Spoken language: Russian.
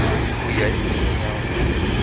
нихуя себе не знал не знал